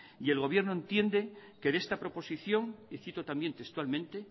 y el gobierno entiende que de esta proposición y cito también textualmente